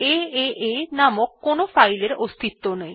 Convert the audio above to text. এএ নামক কোনো ফাইলের অস্তিত্ব নেই